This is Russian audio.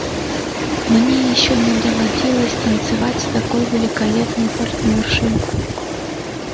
мне ещё не доводилось танцевать с такой великолепной партнёршей